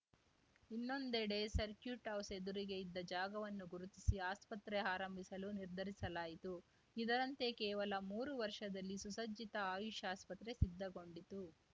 ಇನ್ನೊಂದೆಡೆ circuit house ಎದುರಿಗೆ ಇದ್ದ ಜಾಗವನ್ನು ಗುರುತಿಸಿ ಆಸ್ಪತ್ರೆ ಆರಂಭಿಸಲು ನಿರ್ಧರಿಸಲಾಯಿತು ಇದರಂತೆ ಕೇವಲ ಮೂರು ವರ್ಷದಲ್ಲಿ ಸುಸಜ್ಜಿತ ಆಯುಷ್‌ ಆಸ್ಪತ್ರೆ ಸಿದ್ಧಗೊಂಡಿತು